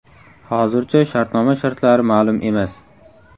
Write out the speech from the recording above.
Hozircha shartnoma shartlari ma’lum emas.